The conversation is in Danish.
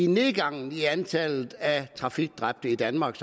nedgangen i antallet af trafikdrab i danmark